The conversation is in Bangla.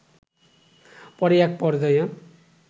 পরে এক পর্যায়ে